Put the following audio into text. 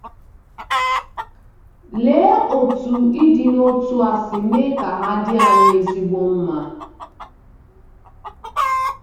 Lee otú ịdị n’otu a si mee ka ha dị anyị ezigbo mma!